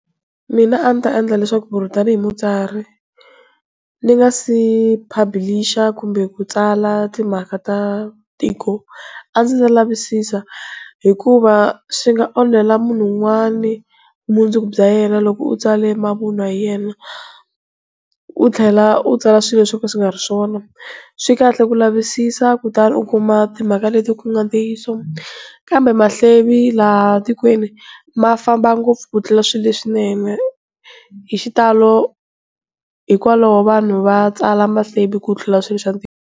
Mina a ni ta endla leswaku tanihi mutsari ni nga se publisher kumbe ku tsala timhaka ta tiko, a ndzi ta lavisisa hikuva swi nga onhela munhu un'wana vumundzuku bya yena loko u tsale mavun'wa hi yena, u tlhela u tsala swilo swo nga swi nga ri swona. Swikahle ku lavisisa kutani u kuma timhaka leti ku nga ntiyiso, kambe mahlevo tikweni mafamba ngopfu ku tlula swilo leswinene. Hi xitalo hikwalaho vanhu va tsala mahlevo ku tlula swilo swa ntiyiso.